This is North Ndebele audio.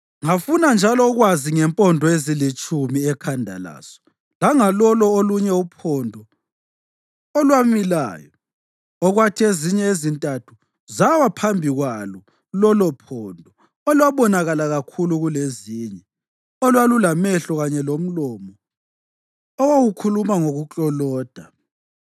Ngafuna njalo ukwazi ngempondo ezilitshumi ekhanda laso langalolo olunye uphondo olwamilayo, okwathi ezinye ezintathu zawa phambi kwalo lolophondo olwabonakala kakhulu kulezinye, olwalulamehlo kanye lomlomo owawukhuluma ngokukloloda.